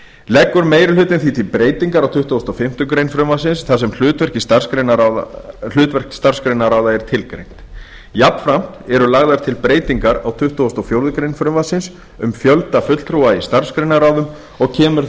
leggur meiri hlutinn því til breytingar á tuttugustu og fimmtu grein frumvarpsins þar sem hlutverk starfsgreinaráða er tilgreint jafnframt eru lagðar til breytingar á tuttugustu og fjórðu grein frumvarpsins um fjölda fulltrúa í starfsgreinaráðum og kemur